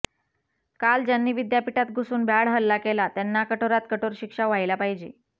काल ज्यांनी विद्यापीठात घुसून भ्याड हल्ला केला त्यांना कठोरात कठोर शिक्षा व्हायला पाहिजे